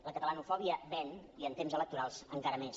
la catalanofòbia ven i en temps electorals encara més